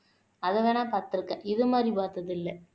அத வேணா பாத்திருக்கேன் இது மாரி பாத்ததில்ல